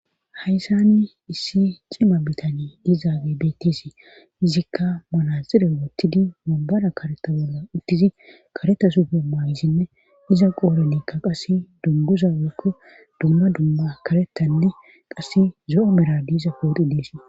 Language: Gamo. hayssanni issi cima bitani dizaage bettesi izikka manazire woottidi mombara kareta bolla uttizi kareta sufe maayisinne iza qooronikka qasse dunguza wekke dumma dumma karetanne qasse zo7o mera diiza pooxi dees